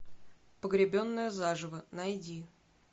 погребенная заживо найди